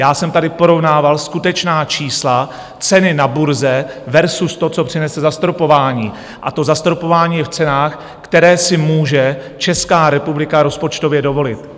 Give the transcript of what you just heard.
Já jsem tady porovnával skutečná čísla, ceny na burze versus to, co přinese zastropování, a to zastropování je v cenách, které si může Česká republika rozpočtově dovolit.